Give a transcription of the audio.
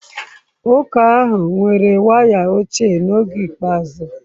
Ụka ahụ nwere waya ochie n'oge ikpeazụ.